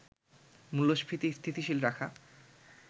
মূল্যস্ফীতি স্থিতিশীল রাখা